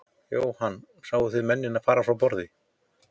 Jóhann: Sáu þið mennina fara frá borði?